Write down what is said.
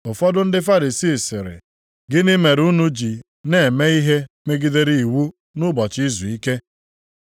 Ụfọdụ ndị Farisii sịrị, “Gịnị mere unu ji na-eme ihe megidere iwu nʼụbọchị izuike?”